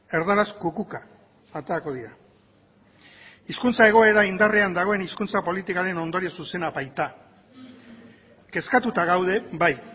erdaraz kukuka aterako dira hizkuntza egoera indarrean dagoen hizkuntza politikaren ondorio zuzena baita kezkatuta gaude bai